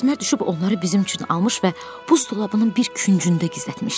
Əsmər düşüb onları bizim üçün almış və buz dolabının bir küncündə gizlətmişdi.